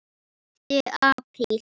Hlauptu apríl.